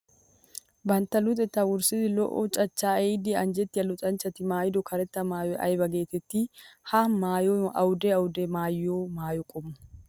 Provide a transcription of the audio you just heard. Bantta luxetta wurssiddi lo'o cachcha ehiiddi anjjettiya luxanchchatti maayiddo karetta maayiy aybba geetetti? Ha maayoy awudde awudde maayiyo maayo qommo?